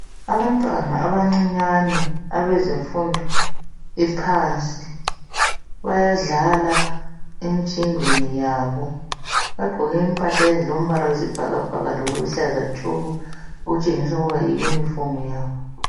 Abantwana abancinyani abezemfundo yephansi, bayadlala emjingweni yabo. Bagqoke impahla ezilombala wesibhakabhaka lokuluhlaza tshoko okutshengisa ukuba yiyunifomu yabo.